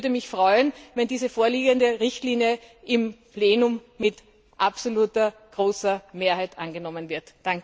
Ich würde mich freuen, wenn die vorliegende Richtlinie im Plenum mit absoluter, großer Mehrheit angenommen wird.